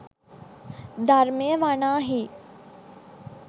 ධර්මය වනාහී